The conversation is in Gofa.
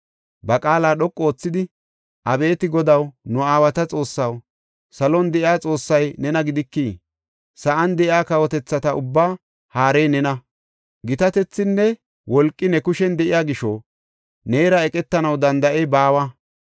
Ba qaala dhoqu oothidi, “Abeeti Godaw, nu aawata Xoossaw, salon de7iya Xoossay nena gidikii? Sa7an de7iya kawotethata ubbaa haarey nena. Gitatethinne wolqi ne kushen de7iya gisho neera eqetanaw danda7ey baawa.